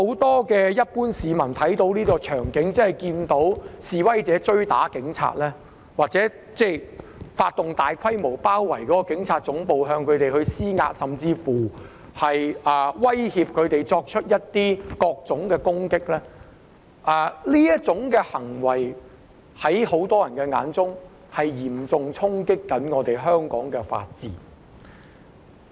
我相信一般市民看到這種場景，即看到示威者追打警察或發動大規模行動，包圍警察總部，向警方施壓，甚至威脅作出各種攻擊，在很多人眼中，這些行為都是嚴重衝擊香港法治。